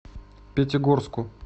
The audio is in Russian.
пятигорску